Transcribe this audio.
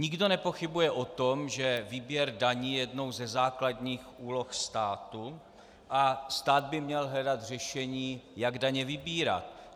Nikdo nepochybuje o tom, že výběr daní je jednou ze základních úloh státu a stát by měl hledat řešení, jak daně vybírat.